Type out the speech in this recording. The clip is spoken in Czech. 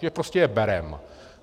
Že prostě je bereme.